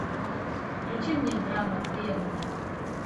включи мне драма древние